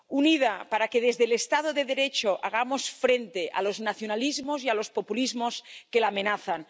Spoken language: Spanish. Unida, para que desde el estado de Derecho hagamos frente a los nacionalismos y a los populismos que la amenazan.